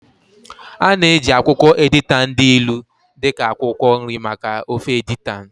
A na-eji akwụkwọ editan dị ilu dị ka akwụkwọ nri maka ofe editan